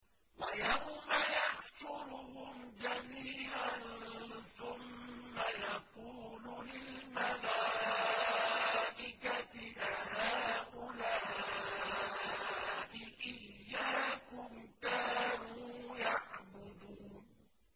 وَيَوْمَ يَحْشُرُهُمْ جَمِيعًا ثُمَّ يَقُولُ لِلْمَلَائِكَةِ أَهَٰؤُلَاءِ إِيَّاكُمْ كَانُوا يَعْبُدُونَ